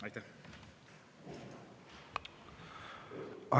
Aitäh!